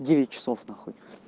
девять часов нахуй